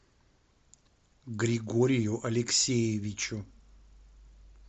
григорию алексеевичу